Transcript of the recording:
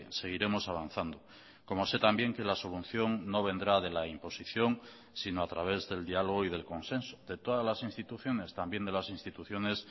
seguiremos avanzando como sé también que la solución no vendrá de la imposición sino a través del diálogo y del consenso de todas las instituciones también de las instituciones